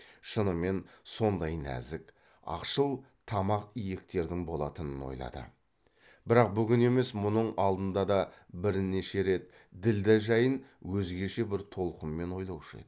шынымен сондай нәзік ақшыл тамақ иектердің болатынын ойлады бір бүгін емес мұның алдында да бірнеше рет ділдә жайын өзгеше бір толқынмен ойлаушы еді